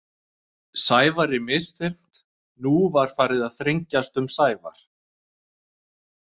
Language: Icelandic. Sævari misþyrmt Nú var farið að þrengjast um Sævar.